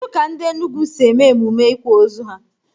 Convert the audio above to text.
Kedụ ka ndị Enugwu si eme emume ịkwa ozu ha?